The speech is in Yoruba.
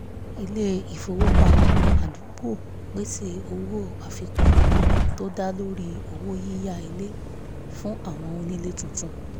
ilé-ifowopamọ́ àdúgbò pèsè owó àfikún tó dá lórí owó yíyá ilé fún àwọn onílé tuntun